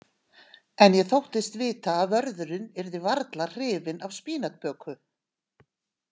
En ég þóttist vita að vörðurinn yrði varla hrifinn af spínatböku.